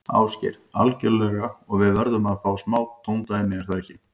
Ásgeir: Algjörlega og við verðum að fá smá tóndæmi, er það ekki?